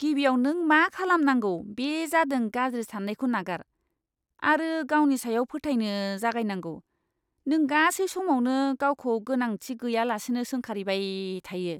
गिबियाव नों मा खालामनांगौ बे जादों गाज्रि साननायखौ नागार आरो गावनि सायाव फोथायनो जागायनांगौ। नों गासै समावनो गावखौ गोनांथि गैयालासेनो सोंखारिबाय थायो।